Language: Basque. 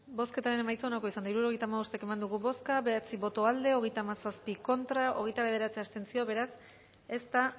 bozketaren emaitza onako izan da hirurogeita hamabost eman dugu bozka bederatzi boto aldekoa hogeita hamazazpi contra hogeita bederatzi abstentzio beraz ez da